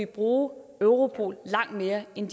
bruge europol langt mere end